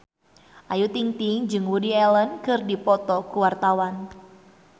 Ayu Ting-ting jeung Woody Allen keur dipoto ku wartawan